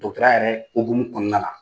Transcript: dɔgɔtɔrɔya yɛrɛ okumu kɔnɔna la